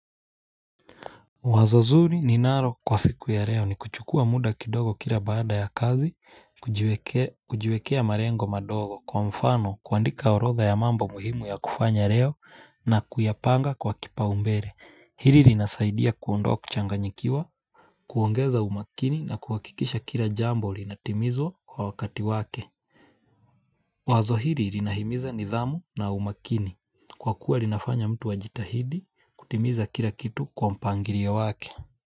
Wazo zuri ninaro kwa siku ya reo ni kuchukua muda kidogo kila baada ya kazi, kujiwekea marengo madogo, kwa mfano kuandika orodha ya mambo muhimu ya kufanya reo na kuyapanga kwa kipaumbere. Hiri rinasaidia kuondoa kuchanganyikiwa, kuongeza umakini na kuhakikisha kila jambo linatimizwa kwa wakati wake. Wazo hiri rinahimiza nidhamu na umakini. Kwa kuwa rinafanya mtu ajitahidi kutimiza kila kitu kwa mpangirio wake.